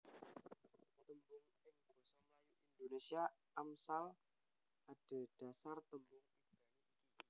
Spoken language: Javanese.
Tembung ing basa Melayu Indonésia Amsal adhedhasar tembung Ibrani iki